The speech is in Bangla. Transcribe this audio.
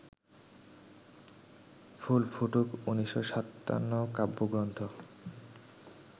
ফুল ফুটুক ১৯৫৭ কাব্যগ্রন্থ